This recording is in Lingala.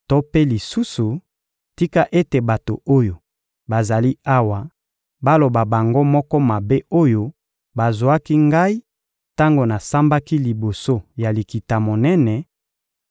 To mpe lisusu, tika ete bato oyo bazali awa baloba bango moko mabe oyo bazwaki ngai tango nasambaki liboso ya Likita-Monene,